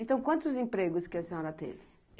Então, quantos empregos que a senhora teve?